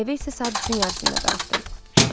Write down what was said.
Evə isə saat 3-ün yarısında qayıtdım.